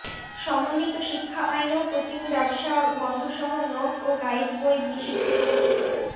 সমন্বিত শিক্ষা আইনেও কোচিং ব্যবসা বন্ধসহ নোট ও গাইড বই নিষিদ্ধ থাকছে